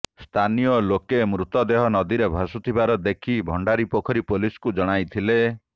ସ୍ଥାନୀୟ ଲୋକେ ମୃତଦେହ ନଦୀରେ ଭାସୁଥିବା ଦେଖି ଭଣ୍ଡାରିପୋଖରୀ ପୋଲିସକୁ ଜଣାଇଥିଲେ